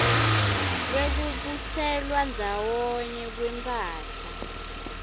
lwekubutselwa ndzawonye kwemphahla